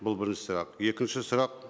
бұл бірінші сұрақ екінші сұрақ